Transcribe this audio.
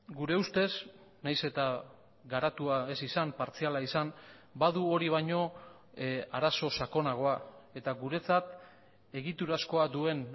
gure ustez nahiz eta garatua ez izan partziala izan badu hori baino arazo sakonagoa eta guretzat egiturazkoa duen